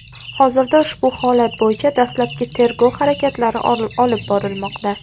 Hozirda ushbu holat bo‘yicha dastlabki tergov harakatlari olib borilmoqda.